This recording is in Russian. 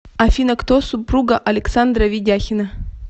афина кто супруга александра ведяхина